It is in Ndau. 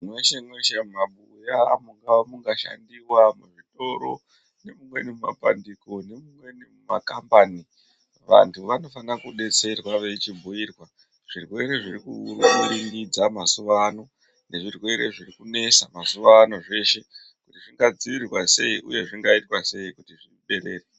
Meshe meshe mumabuya mungava mungashandiwa, muzvitoro nemumweni mumapandiko nemumweni mumakambani vantu vanofanira kudetserwa vechibhuyirwa zvirwere zvirikuuringidza mazuva ano nezvirwere zvirikunetsa mazuva ano zveshe kuti zvingadzivirirwa sei uye zvingaitwa sei kuti zvipere.